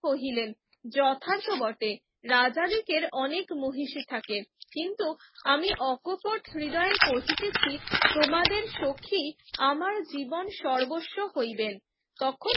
কহিলেন যথাৎত বটে রাজা দিকের অনেক মহিষী থাকে কিন্তু আমি অকপট হৃদয়ে কহিতেছি তোমাদের সখি আমার জীবন সর্বস্ব হইবেন তখন